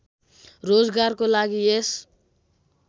रोजगारको लागि यस